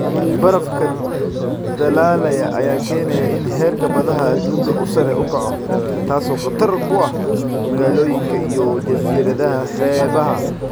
Barafka dhalaalaya ayaa keenaya in heerka badaha adduunka uu sare u kaco, taasoo khatar ku ah magaalooyinka iyo jasiiradaha xeebaha.